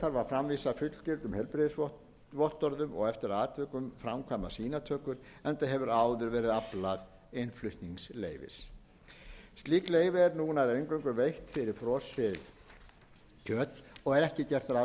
framvísa fullgildum heilbrigðisvottorðum og eftir atvikum framkvæma sýnatökur enda hefur áður verið aflað innflutningsleyfis slík leyfi eru nú nær eingöngu veitt fyrir frosið kjöt og ekki er gert ráð fyrir breytingum